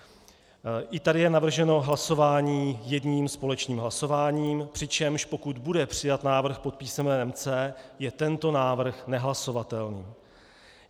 I tady je navrženo hlasováním jedním společným hlasováním, přičemž pokud bude přijat návrh pod písmenem C, je tento návrh nehlasovatelný.